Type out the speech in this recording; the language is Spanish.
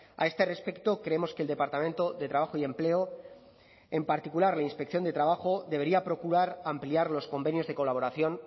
a este respecto creemos que el departamento de trabajo y empleo en particular la inspección de trabajo debería procurar ampliar los convenios de colaboración